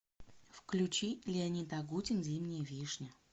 включи леонид агутин зимняя вишня